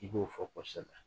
I b'o fɔ kɔsɛbɛ.